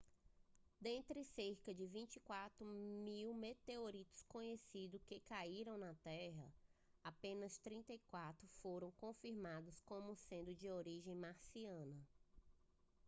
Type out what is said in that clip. dentre cerca de 24 mil meteoritos conhecidos que caíram na terra apenas 34 foram confirmados como sendo de origem marciana